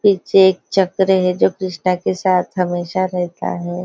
पीछे एक चक्र है जो कृष्णा के साथ हमेशा रहता है।